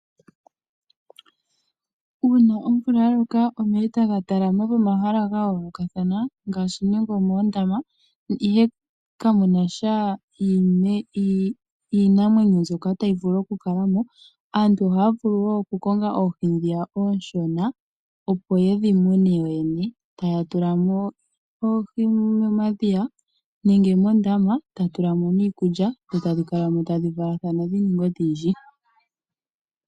Uuna omvula yaloka ,omeya etaga talama pomahala gayoolokathana ngaashi nenge omoondama, ihe kamunasha iinamwenyo ndyoka tayi vulu okukala mo, Aantu ohaya vulu wo okukonga oohi ndhiya onshona opo yedhi mune yoyene. Taya tula mo oohi momadhiya nenge moondama tadhi tulilwa mo niikulya, dho tadhi valathana dhininge odhindji.